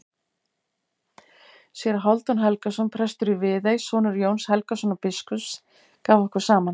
Séra Hálfdan Helgason, prestur í Viðey, sonur Jóns Helgasonar biskups, gaf okkur saman.